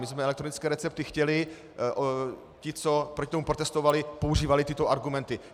My jsme elektronické recepty chtěli, ti, co proti tomu protestovali, používali tyto argumenty.